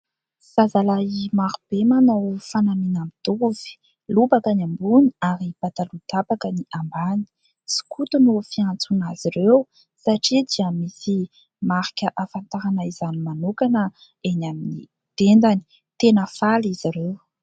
Zazalahy maro be manao fanamiana mitovy : lobaka ny ambony ary pataloha tapaka ny ambany. Sokoto no fiantsoana azy ireo satria dia misy marika afantarana izany manokana eny amin'ny tendany. Tena faly izy ireo.